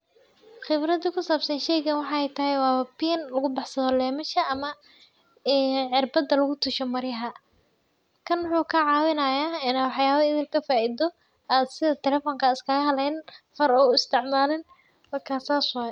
Qibrada ku saabsan sheygaan waxaay tahay waa biin lagu baxsado leymasha ama ii cirbada lagu tasho maryaha. Kan wuxuu kaa caawinaayaa inaa waxyaawa idil kafaido aad sida telefonka iskaga haleynin, hor u isticmalin wakaa saas waay.